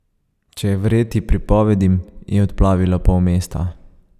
Če je verjeti pripovedim, je odplavilo pol mesta.